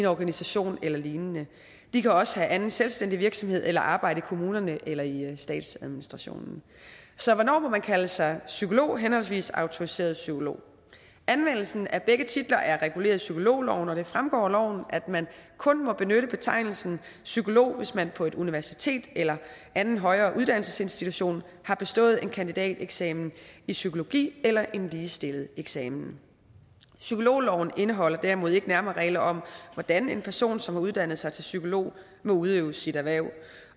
organisation eller lignende de kan også have anden selvstændig virksomhed eller arbejde i kommunerne eller i statsadministrationen så hvornår må man kalde sig psykolog henholdsvis autoriseret psykolog anvendelsen af begge titler er reguleret i psykologloven og det fremgår af loven at man kun må benytte betegnelsen psykolog hvis man på et universitet eller anden højere uddannelsesinstitution har bestået en kandidateksamen i psykologi eller en ligestillet eksamen psykologloven indeholder derimod ikke nærmere regler om hvordan en person som har uddannet sig til psykolog må udøve sit erhverv